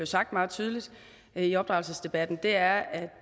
sagt meget tydeligt i opdragelsesdebatten er at